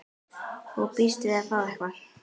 Og býst við að fá eitthvað?